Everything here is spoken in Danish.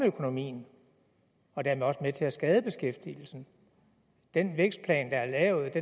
økonomien og dermed også med til at skade beskæftigelsen den vækstplan der er lavet